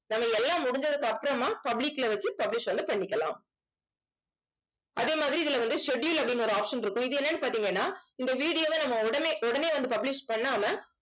நம்ம எல்லாம் முடிஞ்சதுக்கு அப்புறமா public ல வச்சு publish வந்து பண்ணிக்கலாம். அதே மாதிரி இதுல வந்து schedule அப்படின்னு ஒரு option இருக்கும். இது என்னன்னு பார்த்தீங்கன்னா இந்த video வை நம்ம உடனே உடனே வந்து publish பண்ணாம